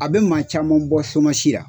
A bɛ maa caman bɔ la.